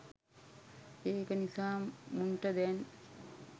ඒක නිසා මුන්ට දැන්